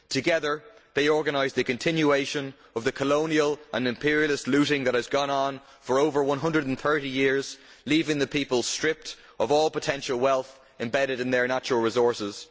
Together they organised a continuation of the colonial and imperialist looting that has gone on for over 130 years, leaving the people stripped of all of the potential wealth embedded in their natural resources.